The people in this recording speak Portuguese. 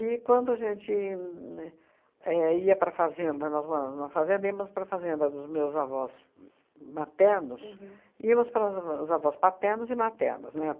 E, quando a gente né éh ia para a fazenda, nós moramos numa fazenda, íamos para a fazenda dos meus avós m maternos, íamos para as os avós paternos e maternos, né?